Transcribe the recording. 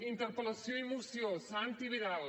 interpel·lació i moció santi vidal